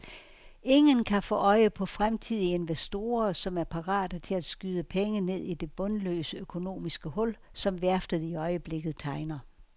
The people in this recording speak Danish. Ingen kan få øje på fremtidige investorer, som er parate til at skyde penge ned i det bundløse økonomiske hul, som værftet i øjeblikket tegner.